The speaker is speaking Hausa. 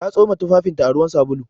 Ta tsoma tufafinta a ruwan sabulu.